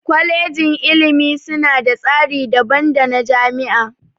Kwalejin ilimi suna da tsari daban dana jami'a.